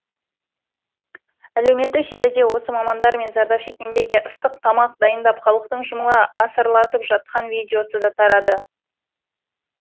әлеуметтік желіде осы мамандар мен зардап шеккендерге ыстық тамақ дайындап халықтың жұмыла асарлатып жатқан видеосы да тарады